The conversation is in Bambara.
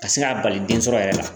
Ka se k'a bali den sɔrɔ yɛrɛ la.